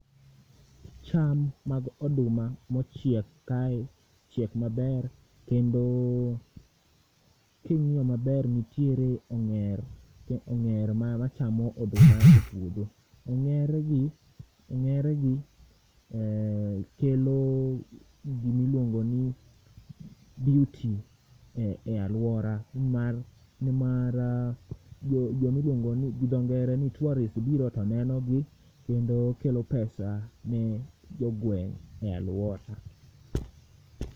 Cham mag oduma mochiek kae chiek maber, kendo king'io maber, nitiere ong'er ong'er ma machamo oduma e puodho. Ong'er gi ong'ere gi eeh kelo gimiluongo ni beauty e e alwora nimar nimar uuh jo jo milwongo ni gidho ngere ni tourist biro to nenogi kendo kelo pesa ne jogweng' e alwora.